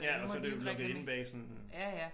Ja og så det jo når det inde bag sådan